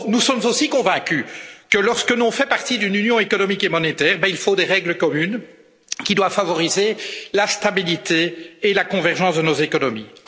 Or nous sommes aussi convaincus que lorsque l'on fait partie d'une union économique et monétaire, il faut des règles communes qui doivent favoriser la stabilité et la convergence de nos économies.